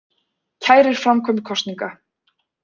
Kærir framkvæmd kosninga